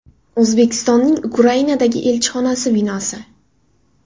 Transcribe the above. O‘zbekistonning Ukrainadagi elchixonasi binosi.